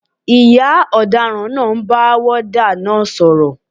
Ìyá ọ̀daràn náà ń bá wọ́ọ́dà náà sọ̀rọ̀